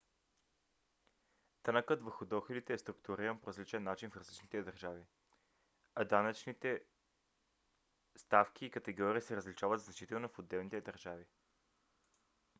данъкът върху доходите е структуриран по различен начин в различните държави а данъчните ставки и категории се различават значително в отделните държави